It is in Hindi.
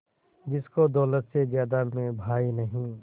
जिसको दौलत से ज्यादा मैं भाई नहीं